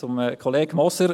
Zu Kollege Moser: